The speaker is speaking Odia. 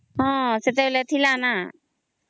ହଁ ସେତେବେଳେ ଥିଲା ନା